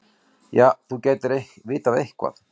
Já, þú gætir vitað eitthvað.